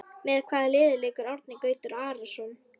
Með hvaða liði leikur Árni Gautur Arason?